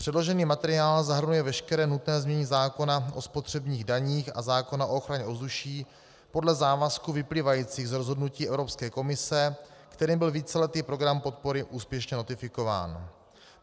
Předložený materiál zahrnuje veškeré nutné znění zákona o spotřebních daních a zákona o ochraně ovzduší podle závazků vyplývajících z rozhodnutí Evropské komise, kterým byl víceletý program podpory úspěšně notifikován.